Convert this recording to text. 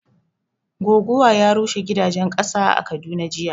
Goguwa ya rushe gidajen ƙasa a Kaduna jiya